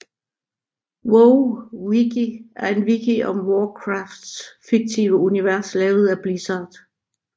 WoWWiki er en wiki om Warcrafts fiktive univers lavet af Blizzard